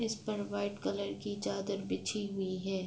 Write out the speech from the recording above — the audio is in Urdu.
اس پر وائٹ کلر کی چادر بچھی ہوئی ہے۔